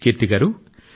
కీర్తి గారూ